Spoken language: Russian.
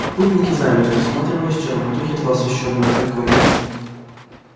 путники замерли всматриваясь в черноту едва освещённую огоньком